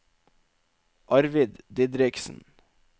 Arvid Didriksen